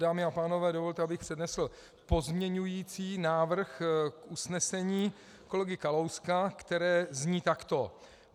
Dámy a pánové, dovolte, abych přednesl pozměňovací návrh k usnesení kolegy Kalouska, které zní takto: